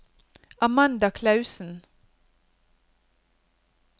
Amanda Klausen